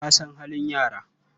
Ka san halin yara?